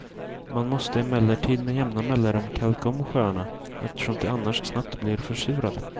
Man måste emellertid med jämna mellanrum kalka om sjöarna, eftersom de annars snabbt blir försurade.